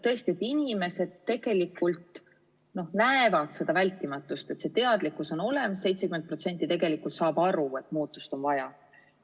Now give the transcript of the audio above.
Tõesti, inimesed näevad seda vältimatust, see teadlikkus on olemas ja 70% tegelikult saab aru, et muutust on vaja.